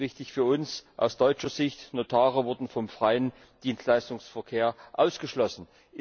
Und wichtig für uns aus deutscher Sicht Notare wurden vom freien Dienstleistungsverkehr ausgeschlossen.